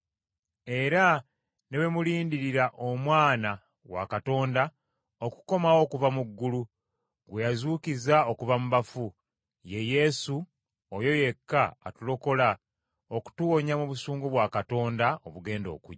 era ne bwe mulindiridde Omwana wa Katonda, okukomawo okuva mu ggulu, gwe yazuukiza okuva mu bafu, ye Yesu oyo yekka atulokola okutuwonya mu busungu bwa Katonda obugenda okujja.